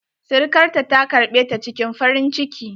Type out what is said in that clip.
Sirikarta ta karɓe ta cikin farin ciki.